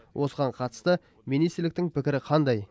осыған қатысты министрліктің пікірі қандай